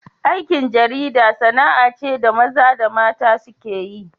Aikin jarida sana'a ce da maza da mata suke yi.